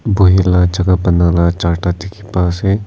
buhi la jaka banala charta dikhipa ase.